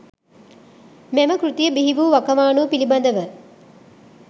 මෙම කෘතිය බිහි වූ වකවානුව පිළිබඳව